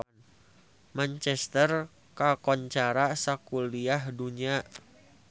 Manchester kakoncara sakuliah dunya